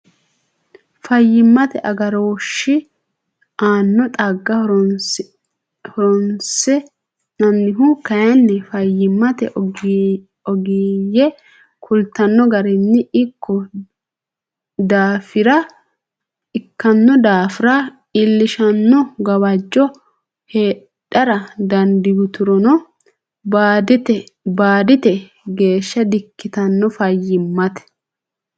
Fayyimmate agarooshshi aanno xagga horoonsi nannihu kayinni fayyimmate ogeeyye kultanno garinni ikkino daafira iillishshanno gawajjo heedhara dandiiturono baadite geeshsha dikkitanno Fayyimmate.